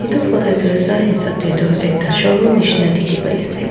etu photo te tu sai hisap te tu ekta showroom nishi na dikhi pai ase.